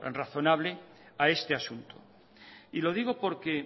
razonable a este asunto y lo digo porque